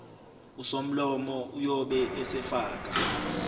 usomlomo uyobe esefaka